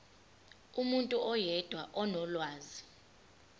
umuntu oyedwa onolwazi